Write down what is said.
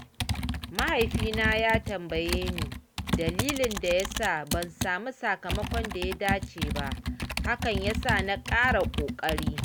Mahaifina ya tambaye ni dalilin da ya sa ban samu sakamakon da ya dace ba, hakan ya sa na ƙara ƙoƙari.